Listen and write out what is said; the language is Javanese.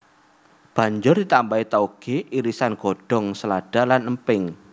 Banjur ditambahi taoge irisan godhong selada lan emping